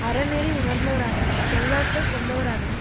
அறநெறி உணர்ந்தவராகவும் சொல்லாற்றல் கொண்டவராகவும்